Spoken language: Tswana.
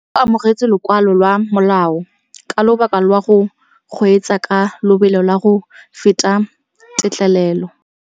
O amogetse lokwalô lwa molao ka lobaka lwa go kgweetsa ka lobelo la go feta têtlêlêlô.